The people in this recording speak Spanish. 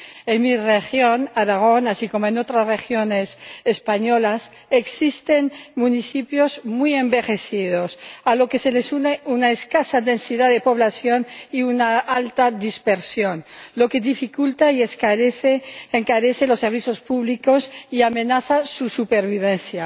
En mi región, Aragón, así como en otras regiones españolas, existen municipios muy envejecidos a lo que se les une una escasa densidad de población y una alta dispersión, lo que dificulta y encarece los servicios públicos y amenaza su supervivencia.